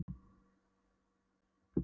En þetta var þó alltént hálfur sannleikur.